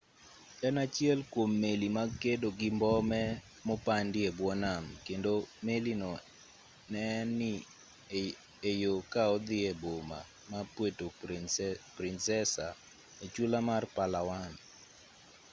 en achiel kwom meli mag kedo gi mbome mopandi e bwo nam kendo meli no ne ni e yo ka odhi e boma ma puerto princesa e chula mar palawan